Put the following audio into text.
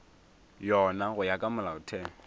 yona go ya ka molaotheo